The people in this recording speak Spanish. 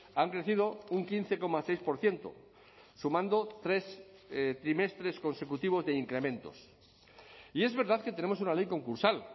han crecido un quince coma seis por ciento sumando tres trimestres consecutivos de incrementos y es verdad que tenemos una ley concursal